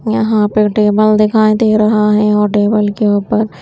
यहां पर टेबल दिखाई दे रहा है और टेबल के ऊपर--